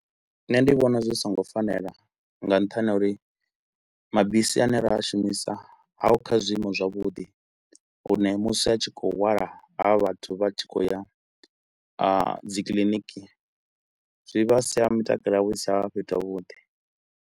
Nṋe ndi vhona zwi so ngo fanela nga nṱhani ha uri mabisi a ne ra a shumisa haho kha zwiimo zwavhuḓi hune musi a tshi kho u hwala havha vhathu vha tshi khou ya ha dzi kiliniki zwi vha sia mitakalo yavho i si tsha vha fhethu ha vhuḓi.